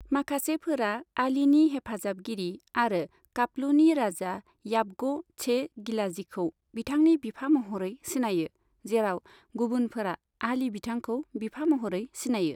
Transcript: माखासेफोरा आलीनि हेफाजाबगिरि आरो खापलूनि राजा याबग' शे गिलाजीखौ बिथांनि बिफा महरै सिनायो, जेराव गुबुनफोरा आली बिथांखौ बिफा महरै सिनायो।